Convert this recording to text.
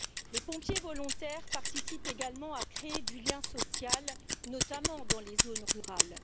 Les pompiers volontaires participent également à créer du lien social, notamment dans les zones rurales.